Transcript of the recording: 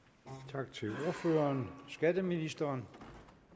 tak til ordføreren skatteministeren